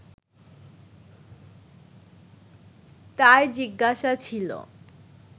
তার জিজ্ঞাসা ছিলো